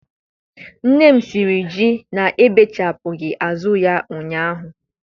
Nne m siri ji na-ebechapụghị azụ ya ụnyahụ.